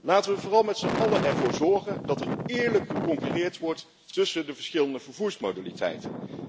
Laten we vooral met zijn allen ervoor zorgen dat er eerlijk geconcurreerd wordt tussen de verschillende vervoersmodaliteiten.